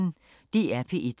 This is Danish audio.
DR P1